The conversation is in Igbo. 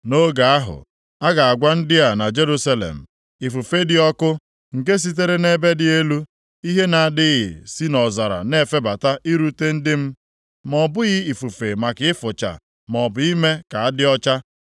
Nʼoge ahụ, a ga-agwa ndị a na Jerusalem, “Ifufe dị ọkụ, nke sitere nʼebe dị elu ihe na-adịghị si nʼọzara na-efebata irute ndị m. Ma ọ bụghị ifufe maka ịfụcha, maọbụ ime ka adị ọcha,